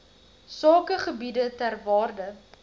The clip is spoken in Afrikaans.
sakegebiede ter waarde